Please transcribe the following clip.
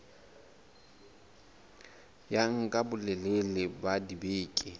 ya nka bolelele ba dibeke